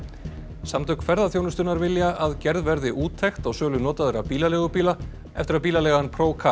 samtök ferðaþjónustunnar vilja að gerð verði úttekt á sölu notaðra bílaleigubíla eftir að bílaleigan